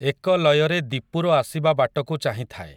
ଏକ ଲୟରେ ଦୀପୁର ଆସିବା ବାଟକୁ ଚାହିଁଥାଏ ।